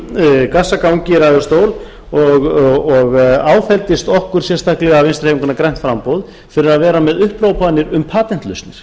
gassagangi í ræðustól og áfelldist okkur sérstaklega vinstri hreyfinguna grænt framboð fyrir að vera með upphrópanir um patentlausnir